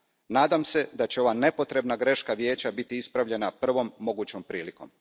Nadam se da će ova nepotrebna greška Vijeća biti ispravljena prvom mogućom prilikom.